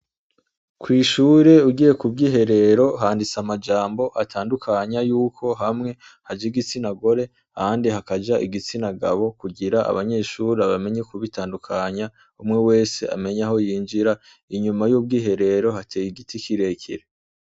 Kwishure ugiye kubwiherero handitse amajambo atandukanya yuko hamwe haja igitsina gore ahandi hakaja igitsina gabo kugira abanyeshure bamenye kuhatandukanya umwe wese amenye aho yinjira inyuma y' ubwiherero hateye igiti kire kire.